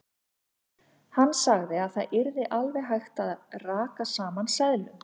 Hann sagði að það yrði alveg hægt að raka saman seðlum.